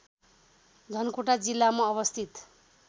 धनकुटा जिल्लामा अवस्थित